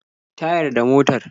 Tayar da motar.